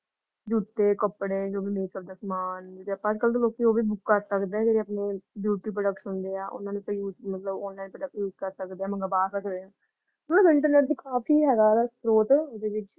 ਜੂਤੇ ਕੱਪੜੇ ਜੋ ਵੀ ਲੈ ਸਕਦੇ ਸਮਾਨ ਅੱਜ-ਕਲ ਲੋਕੀ ਉਹ ਵੀ ਬੁਕ ਕਰ ਸਕਦੇ ਹਾਂ ਜੋ ਆਪਣੇ beauty products ਹੁੰਦੇ ਹਾਂ ਓਹਨਾ ਨੂੰ ਤਾਂ use ਮਤਲਬ ਉਹਨਾਂ ਦੇ ਕਰ use ਸਕਦੇ ਹਾਂ ਮੰਗਵਾ ਸਕਦੇ ਹਾਂ । internet ਦਾ ਕਾਫੀ ਹੈਗਾ ਵਾ ਸਤ੍ਰੋਤ ਇਹਦੇ ਵਿਚ ।